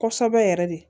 Kosɛbɛ yɛrɛ de